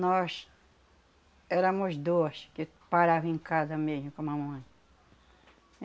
Nós éramos duas que parava em casa mesmo com a mamãe.